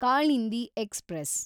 Kalindi express